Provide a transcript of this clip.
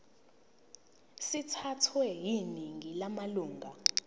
sithathwe yiningi lamalunga